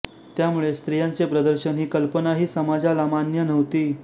त्यामुळे स्त्रियांचे प्रदर्शन ही कल्पनाही समाजाला मान्य नव्हती